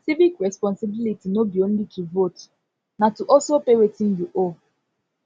civic responsibility no be only to vote na to also pay wetin you owe